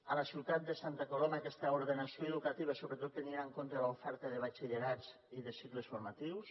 a la ciutat de santa coloma aquesta ordenació educativa i sobretot tenint en compte l’oferta de batxillerats i de cicles formatius